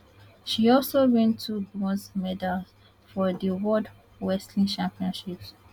she also win two bronze medals for di world wrestling championships